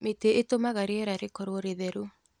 Mĩtĩ ĩtũmaga rĩera rĩkorwo rĩitheru